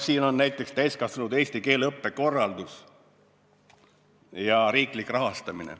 Siin on näiteks "Täiskasvanute eesti keele õppe korraldus ja riiklik rahastamine".